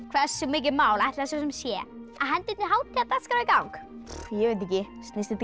hversu mikið mál ætli það svo sem sé að henda einni hátíðardagskrá í gang ég veit ekki snýst þetta